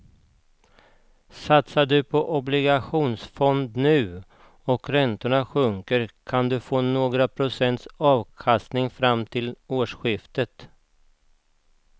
Satsar du på en obligationsfond nu och räntorna sjunker kan du få några procents avkastning fram till årsskiftet.